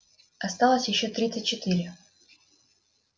осталось ещё тридцать четыре